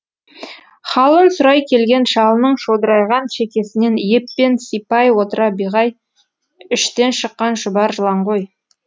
халын сұрай келген шалының шодырайған шекесінен еппен сипай отыра биғай іштен шыққан шұбар жылан ғой